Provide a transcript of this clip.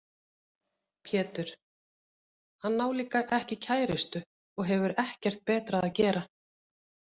Pétur: Hann á líka ekki kærustu og hefur ekkert betra að gera.